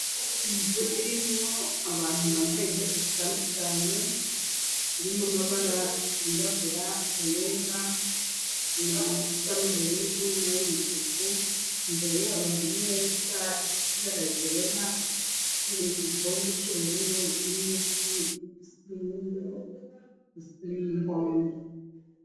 Inzu irimwo abantu bambaye impuzu zitandukane zirimo amabara birabura ayera na a n'ubururu na yo umutuku imbere yabo hari meza esi baragera mu igikombe c'ubururu n'imiti isimumo isteminihanga.